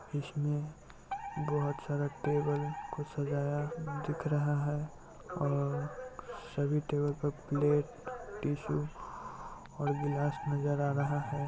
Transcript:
इसमें बहुत सारा टेबल को सजाया दिख रहा है और सभी टेबल पर प्लेट टिशू और ग्लास नजर आ रहा है।